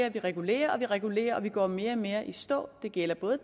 og vi regulerer og vi regulerer og vi går mere og mere i stå det gælder både